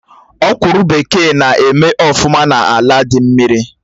Ọ̀kwụ́rụ́ bekee na eme ọfụma n'ala dị mmiri